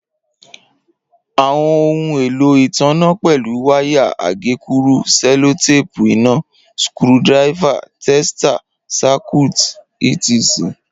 Awọn ohun elo itanna pẹlu, waya, agekuru, sellotape ina, skru diver, tester, Circuit etc.